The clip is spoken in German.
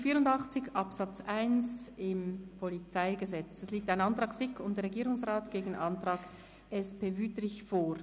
Zu Artikel 84 Absatz 1 PolG liegt ein Antrag SiK und Regierungsrat gegen einen Antrag SP-JUSO-PSA vor.